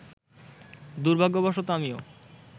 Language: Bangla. দুর্ভাগ্যবশত আমিও